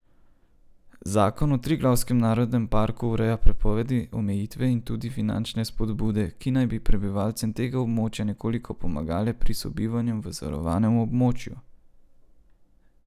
Zakon o Triglavskem narodnem parku ureja prepovedi, omejitve in tudi finančne spodbude, ki naj bi prebivalcem tega območja nekoliko pomagale pri sobivanju v zavarovanem območju.